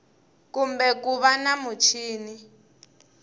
kumbe ku va na muchini